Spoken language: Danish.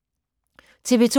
TV 2